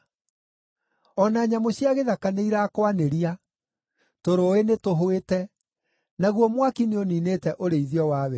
O na nyamũ cia gĩthaka nĩirakwanĩria; tũrũũĩ nĩtũhwĩte, naguo mwaki nĩũniinĩte ũrĩithio wa werũ-inĩ.